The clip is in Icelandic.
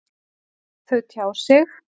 Þau tjá sig.